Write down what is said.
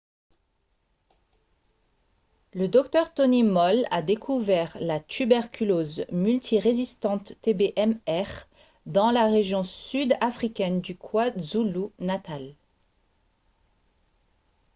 le dr tony moll a découvert la tuberculose multirésistante tb-mr dans la région sud-africaine du kwazulu-natal